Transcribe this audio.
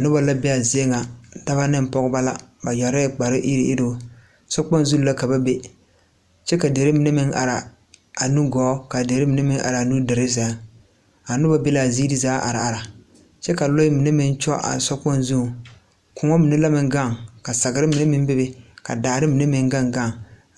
Nobɔ la bee aa zie ŋa dɔbɔ neŋ pɔgebɔ la ba yɛrɛɛ kpare iruŋiruŋ sokpoŋ zu la ka ba be kyɛ ka derre mine meŋ araa a nugɔɔ ka derre mine meŋ araa nudure sɛŋ a nobɔ be laa zeere zaa are are kyɛ ka lɔɛ mine meŋ kyɔ a sokpoŋ zuŋ kõɔ mine la meŋ gaŋ sagre mine meŋ bebe ka daare mine meŋ gaŋgaŋ